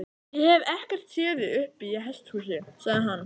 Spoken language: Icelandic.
Ég hef ekkert séð þig uppi í hesthúsi, sagði hann.